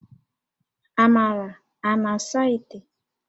Amara a na-asa íté?